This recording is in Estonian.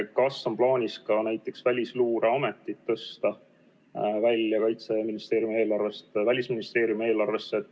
Kas on plaanis ka näiteks Välisluureamet tõsta Kaitseministeeriumi eelarvest Välisministeeriumi eelarvesse?